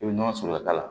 I bɛ nɔnɔ sɔrɔ a la